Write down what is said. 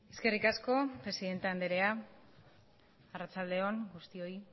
eskerrik asko presidenta andrea arratsalde on guztioi